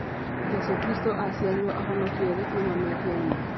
Jesũ kristũ aciarirwo ahonokie thĩ kuuma mehia-inĩ